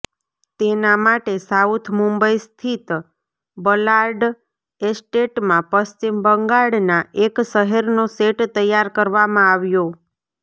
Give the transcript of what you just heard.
તેના માટે સાઉથ મુંબઈ સ્થિત બલાર્ડ એસ્ટેટમાં પશ્ચિમ બંગાળના એક શહેરનો સેટ તૈયાર કરવામાં આવ્યો